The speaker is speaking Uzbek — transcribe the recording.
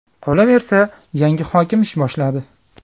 Qolaversa, yangi hokim ish boshladi.